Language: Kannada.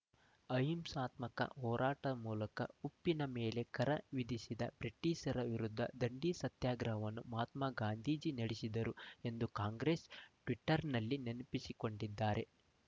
ಅಹಿಂಸಾತ್ಮಕ ಹೋರಾಟ ಮೂಲಕ ಉಪ್ಪಿನ ಮೇಲೆ ಕರ ವಿಧಿಸಿದ ಬ್ರಿಟೀಷರ ವಿರುದ್ದ ದಂಡಿ ಸತ್ಯಾಗ್ರಹವನ್ನು ಮಹಾತ್ಮಗಾಂಧಿ ನಡೆಸಿದರು ಎಂದು ಕಾಂಗ್ರೆಸ್ ಟ್ವೀಟರ್‌ನಲ್ಲಿ ನೆನಪಿಸಿಕೊಂಡಿದ್ದಾರೆ